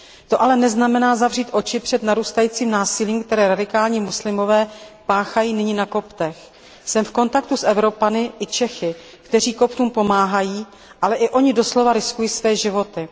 To ale neznamená zavřít oči před narůstajícím násilím, které radikální muslimové páchají nyní na Koptech. Jsem v kontaktu s Evropany i Čechy, kteří Koptům pomáhají, ale i oni doslova riskují své životy.